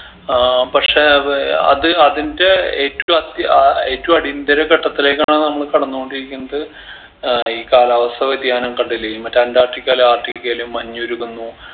ആഹ് പക്ഷെ അത് അത് അതിൻറെ ഏറ്റു അത്യ ആഹ് ഏറ്റു അടിയന്തര ഘട്ടത്തിലേക്കാണ് നമ്മള് കടന്ന് കൊണ്ടിരിക്കുന്നത് ഏർ ഈ കാലാവസ്ഥ വ്യതിയാനം കണ്ടില്ലേ മറ്റെ അന്റാർട്ടികാലു ആർട്ടിക്കയിലെം മഞ്ഞുരുകുന്നു